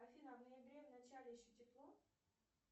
афина в ноябре в начале еще тепло